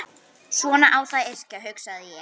Svona á þá að yrkja, hugsaði ég.